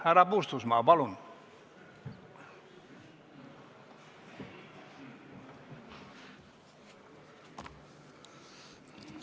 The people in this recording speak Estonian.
Härra Puustusmaa, palun!